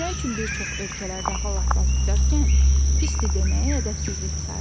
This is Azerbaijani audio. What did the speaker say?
Nə üçün bir çox ölkələrdə hal-əhval tutarkən pisdir deməyə ədəbsizlik sayırlar.